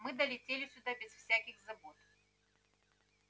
мы долетели сюда без всяких забот